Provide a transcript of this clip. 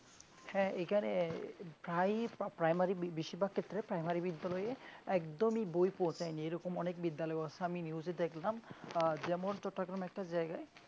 হ্যাঁ এইখানে হাই বা প্রা~ প্রাইমারি বেশিরভাগ ক্ষেত্রে primary বিদ্যালয়ে একদমই বই পৌঁছায়নি এরকম অনেক বিদ্যালয় আছে আমি news এ দেখলাম আহ যেমন একটা জায়গায়